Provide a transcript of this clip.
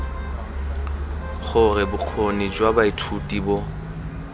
gore bokgoni jwa baithuti bo